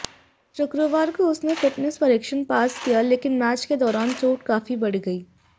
शुक्रवार को उसने फिटनेस परीक्षण पास किया लेकिन मैच के दौरान चोट काफी बढ़ गई